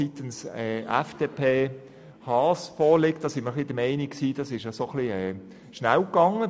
Hier sind wir der Meinung, es sei ein bisschen schnell gegangen.